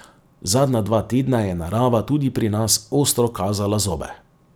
Zadnja dva tedna je narava tudi pri nas ostro kazala zobe.